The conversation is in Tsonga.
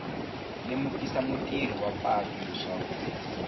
lemukisa mutirhisi wa patu leswaku